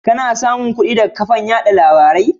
Kanasamun kudi daga kafan yada labarai?